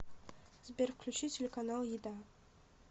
сбер включи телеканал еда